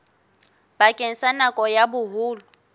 bakeng sa nako ya boholo